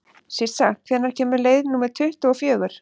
Sissa, hvenær kemur leið númer tuttugu og fjögur?